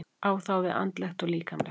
Á þá við andlegt og líkamlegt.